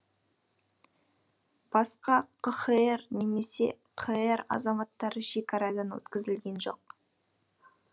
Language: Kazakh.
басқа қхр немесе қр азаматтары шекарадан өткізілген жоқ